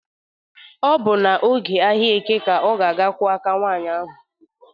Ọ bụ na oge ahịa eke ka ọ ga-aga kụọ aka nwaanyị ahụ.